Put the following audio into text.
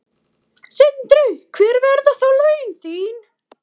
Sindri: Hver verða þá laun þín?